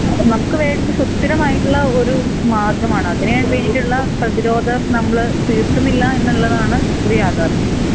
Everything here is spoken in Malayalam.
നമ്മുക്ക് വേണ്ടത് സുത്തിനമായിട്ടുള്ള ഒരു മാർഗമാണ് അതിനെ വേണ്ടീട്ട്ള്ള പ്രീതിരോധം നമ്മൾ തീർക്കുന്നില്ല എന്നുള്ളതാണ് ഒര് യാഥാർഥ്യം